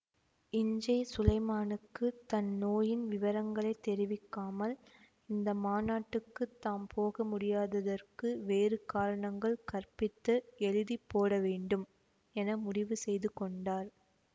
இஞ்சே சுலைமானுக்கு தன் நோயின் விவரங்களை தெரிவிக்காமல் இந்த மாநாட்டுக்குத் தாம் போக முடியாததற்கு வேறு காரணங்கள் கற்பித்து எழுதி போடவேண்டும் என முடிவு செய்து கொண்டார்